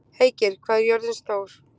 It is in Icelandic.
Heikir, hvað er jörðin stór?